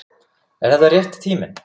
Er þetta rétti tíminn?